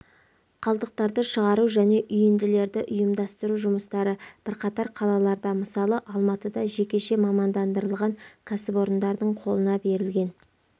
қалдықтарды шығару және үйінділерді ұйымдастыру жұмыстары бірқатар қалаларда мысалы алматыда жекеше мамандандырылған кәсіпорындардың қолына берілген